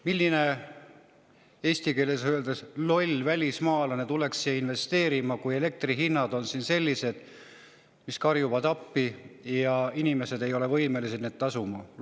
Milline eesti keeles öeldes loll välismaalane tuleks siia investeerima, kui elektri hinnad on siin sellised, mis karjuvad appi, ja inimesed ei ole võimelised tasuma.